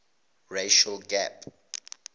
racial gap